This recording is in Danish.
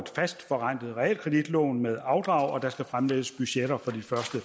fast forrentet realkreditlån med afdrag og der skal fremlægges budgetter for de første